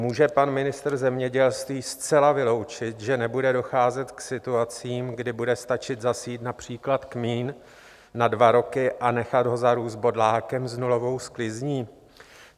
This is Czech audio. Může pan ministr zemědělství zcela vyloučit, že nebude docházet k situacím, kdy bude stačit zasít například kmín na dva roky a nechat ho zarůst bodlákem s nulovou sklizní?